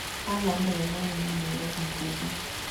Halaad we mwene nĩ mwĩrori ngũthi